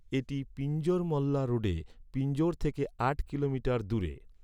এটি পিঞ্জোর মল্লা রোডে পিঞ্জোর থেকে আট কিলোমিটার দূরে।